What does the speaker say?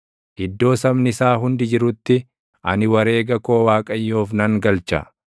Iddoo sabni isaa hundi jirutti, ani wareega koo Waaqayyoof nan galcha;